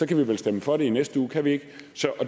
kan vi vel stemme for det i næste uge kan vi ikke